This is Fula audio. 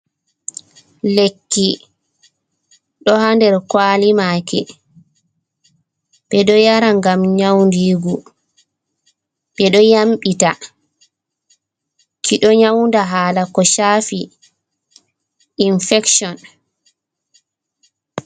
Lekki ɗo haa nder kwalimaki, ɓe ɗo yara ngam nyaudiingu, ɓe ɗo yamɓita. Ki ɗo nyauda haala ko shafi infection.